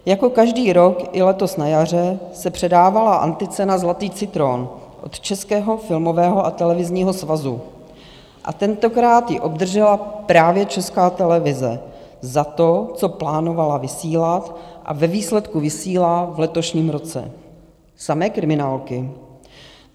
Jako každý rok, i letos na jaře se předávala anticena Zlatý citron od Českého filmového a televizního svazu a tentokrát ji obdržela právě Česká televize za to, co plánovala vysílat a ve výsledku vysílá v letošním roce - samé kriminálky.